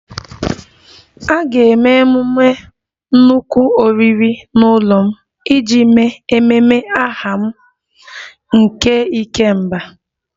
A ga-eme nnukwu oriri n'ụlọ m iji mee ememe aha m nke 'ikemba'